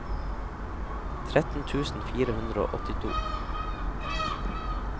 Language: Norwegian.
tretten tusen fire hundre og åttito